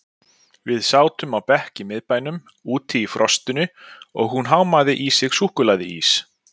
Við sátum á bekk í miðbænum, úti í frostinu og hún hámaði í sig súkkulaðiís.